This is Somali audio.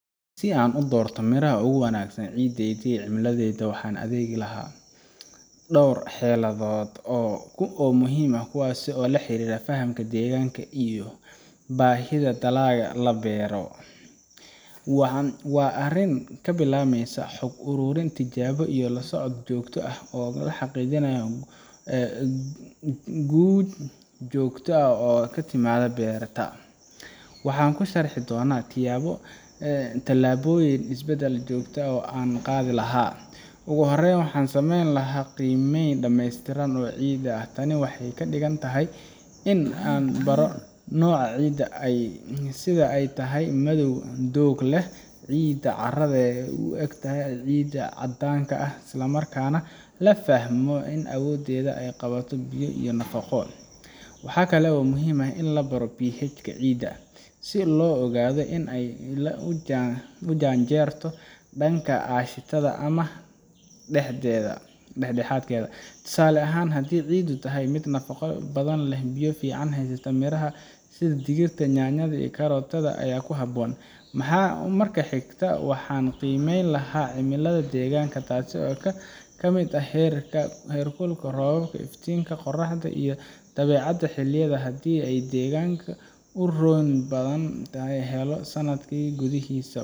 Si aan u doorto miraha ugu wanaagsan ciideedii cimiladiisa waxaan adeegi lahaa Dhawr xeeladood oo ku oo muhiim ah kuwaasi oo la xiriira fahamka deegaanka iyo baahida dalaga la beero waxa waa arin ka bilaabmaysa xog ururin tijaabo iyo la socod joogto ah oo xaqiijinaya guud joogto ah oo ka timadha beerata waxa ku sharhii dhona tijabo talaboyin Isbedel joogta ah oo aan qaadi lahaa ugu horreyn waxaan sameyn lahaa qiimeyn dhameystiran waa ciid ah tani waxay ka dhigan tahay in aan baro noocida ay sida ay tahay madow doogleh ciidda carradee u egtahay ciida caddaanka ah islamarkaana la fahmo in awooddeeda ay qabato biyo iyo nofaqo waxa kale oo muhiim ah in la baro PH ka ciida si loo ogaado in ay ila u jaanjeero dhanka aashitada ama dhexdeeda dhexdhexaad tusaale ahaan haddii ciiddu tahay 1 nafaqo badan leh biyo fiican haysta miraha sida digirta , yanyada iyo karootada ayaa ku haboon maxaa marka xigta waxan qiimeyn lahaa cimilada deegaanka taasi oo ka ka miid ah heerka heerkulka roob iftiinka qorraxda iyo dabeecadda xilliyada haddii ay deegaanka u roon badan sanatki guduhis.